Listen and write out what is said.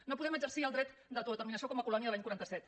no podem exercir el dret d’autodeterminació com a colònia de l’any quaranta set